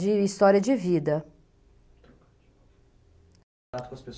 De história de vida.